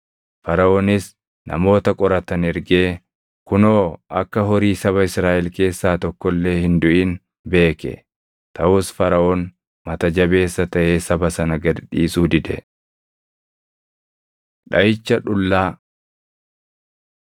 Faraʼoonis namoota qoratan ergee, kunoo akka horii saba Israaʼel keessaa tokko illee hin duʼin beeke. Taʼus Faraʼoon mata jabeessa taʼee saba sana gad dhiisuu dide. Dhaʼicha Dhullaa